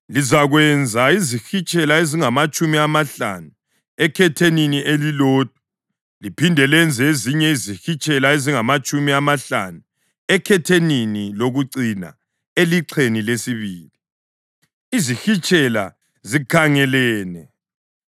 Lizakwenza izihitshela ezingamatshumi amahlanu ekhethenini elilodwa liphinde lenze ezinye izihitshela ezingamatshumi amahlanu ekhethenini lokucina elixheni lesibili, izihitshela zikhangelene.